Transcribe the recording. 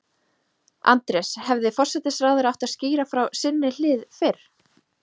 Andrés, hefði forsætisráðherra átt að skýra frá sinni hlið fyrr?